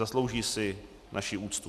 Zaslouží si naši úctu.